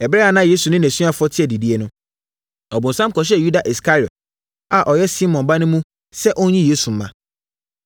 Ɛberɛ a na Yesu ne nʼasuafoɔ te adidiiɛ no, ɔbonsam kɔhyɛɛ Yuda Iskariot a ɔyɛ Simon ba no mu sɛ ɔnyi Yesu mma.